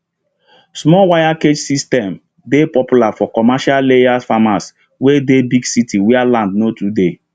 small wire cage system dey popular for commercial layers farms wey dey big city where land no too dey